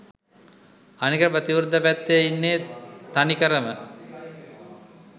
අනික ප්‍රතිවිරුද්ධ පැත්තෙ ඉන්නෙ තනිකරම